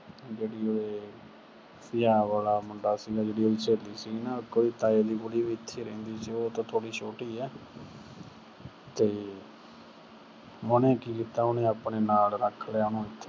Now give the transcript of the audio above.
ਜਿਹੜੀ ਉਹਦੇ ਪੰਜਾਬ ਵਾਲਾ ਮੁੰਡਾ ਸੀਗਾ, ਜਿਹੜੀ ਉਹਦੀ ਸਹੇਲੀ ਸੀਗੀ ਨਾ ਅਹ ਇੱਕ ਉਹਦੀ ਤਾਏ ਦੀ ਕੁੜੀ ਵੀ ਉਥੇ ਹੀ ਰਹਿੰਦੀ ਸੀਗੀ, ਉਹ ਉਹਤੋਂ ਥੋੜੀ ਛੋਟੀ ਏ, ਤੇ ਉਹਨੇ ਕੀ ਕੀਤਾ, ਉਹਨੇ ਆਪਣੇ ਨਾਲ ਰੱਖ ਲਿਆ ਉਹਨੂੰ।